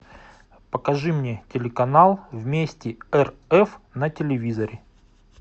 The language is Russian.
покажи мне телеканал вместе рф на телевизоре